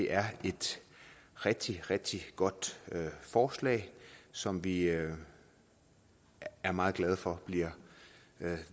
er et rigtig rigtig godt forslag som vi er er meget glade for bliver